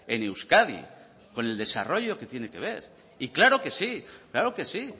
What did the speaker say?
en euskadi con el desarrollo que tiene que ver y claro que sí claro que sí